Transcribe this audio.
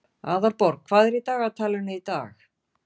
Aðalborg, hvað er í dagatalinu í dag?